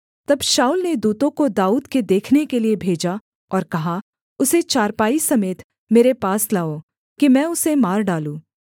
तब शाऊल ने दूतों को दाऊद के देखने के लिये भेजा और कहा उसे चारपाई समेत मेरे पास लाओ कि मैं उसे मार डालूँ